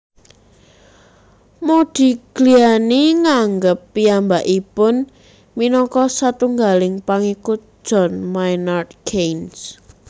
Modigliani nganggep piyambakipun minangka satunggaling pangikut John Maynard Keynes